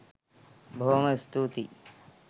බොහොම ස්තූතියි.!